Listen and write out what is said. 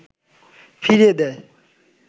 ফিরিয়ে দেয়